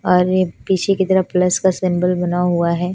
और एक पीछे की तरफ प्लस का सिंबल बना हुआ है।